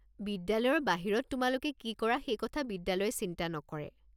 বিদ্যালয়ৰ বাহিৰত তোমালোকে কি কৰা সেই কথা বিদ্যালয়ে চিন্তা নকৰে।